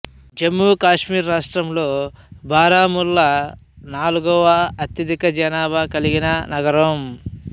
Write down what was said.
జమ్మూ కాశ్మీర్ రాష్ట్రంలో బారాముల్లా నాల్గవ అత్యధిక జనాభా కలిగిన నగరం